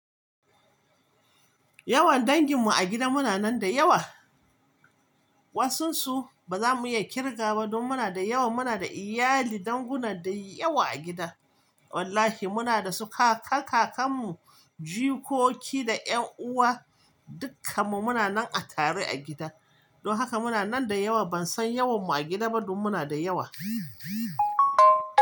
Yawan danginmu a gida muna nan da yawa. Wasansu ba za mu iya kirga ba. Don muna da yawa. Muna da iyali, danguna da yawa a gida. Wallahi, muna da su kaka, kakarmu, jikoki da ƴan uwa dukkanmu muna nan a tare a gida. Don haka muna nan da yawa. Ban san yawanmu a gida ba- don muna da yawa.